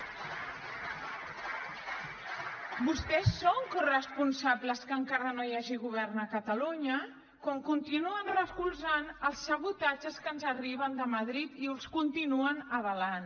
vostès són corresponsables que encara no hi hagi govern a catalunya quan continuen recolzant els sabotatges que ens arriben de madrid i els continuen avalant